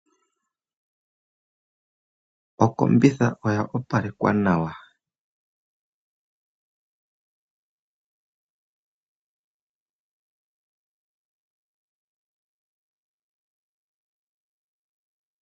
Okombitha oya opalekwa nawa.